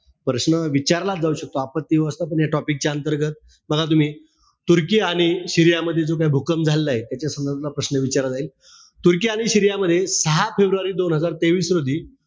प्रश्न विचारलाच जाऊ शकतो. आपण या topic च्या अंतर्गत बघा तुम्ही. तुर्की आणि सीरिया मध्ये जो काई भूकंप झालेलाय. त्या संदर्भातला प्रश्न विचारला जाईल. तुर्की आणि सीरिया मध्ये, दहा फेब्रुवारी दोन हजार तेवीस रोजी,